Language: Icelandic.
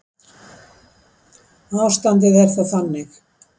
Ástandið er þá þannig